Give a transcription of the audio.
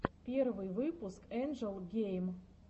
первый выпуск энджел гейм